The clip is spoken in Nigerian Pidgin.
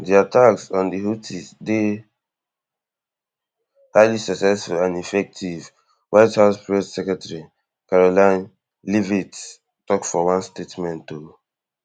di attacks on di houthis dey highly successful and effective white house press secretary karoline leavitt tok for one statement um